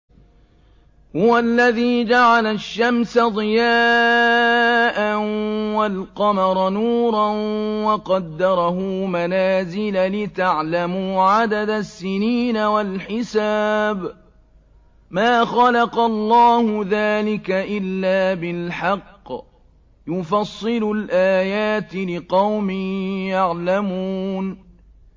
هُوَ الَّذِي جَعَلَ الشَّمْسَ ضِيَاءً وَالْقَمَرَ نُورًا وَقَدَّرَهُ مَنَازِلَ لِتَعْلَمُوا عَدَدَ السِّنِينَ وَالْحِسَابَ ۚ مَا خَلَقَ اللَّهُ ذَٰلِكَ إِلَّا بِالْحَقِّ ۚ يُفَصِّلُ الْآيَاتِ لِقَوْمٍ يَعْلَمُونَ